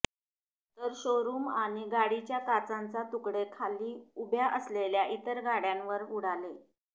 तर शोरुम आणि गाडीच्या काचांचा तुकडे खाली उभ्या असलेल्या इतर गाड्यांवर उडाले